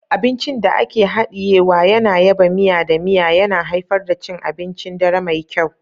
Abincin da ake hadiyewa yana yaba miya da miya, yana haifar da cin abincin dare mai kyau.